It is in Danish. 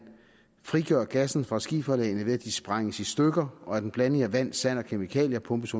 frigør gassen fra skiferlagene ved at de sprænges i stykker og en blanding af vand sand og kemikalier pumpes